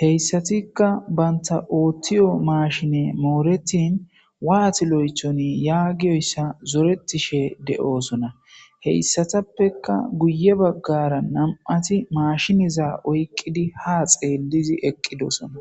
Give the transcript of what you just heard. heyssatikka banta ooththiyo maashine mooretin waatiloythoni yaagiyoyssa zoretishe de'oosona heyssatappeka guye baggara nam'ati maashiniza oyqqidi ha xeellizi eqqidosona